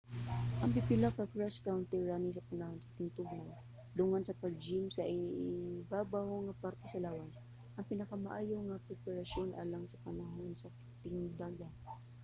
ang pipila ka cross country running sa panahon sa tingtugnaw dungan sa pag-gym alang sa ibabaw nga parte sa lawas ang pinakamaayo nga preparasyon alang sa panahon sa tingdagan